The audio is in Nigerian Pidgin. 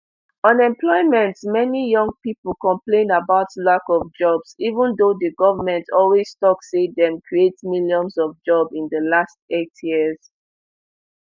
unemploymentmany young pipo complain about lack of jobs even though di goment always tok say dem create millions of jobs in di last eight years